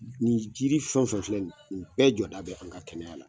Nin jiri fɛn o fɛn filɛ nin ye, nin bɛɛ jɔda bɛ an ka kɛnɛya la